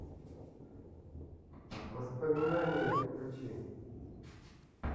воспоминания включи